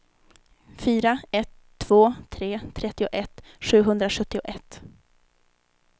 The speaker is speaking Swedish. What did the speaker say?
fyra ett två tre trettioett sjuhundrasjuttioett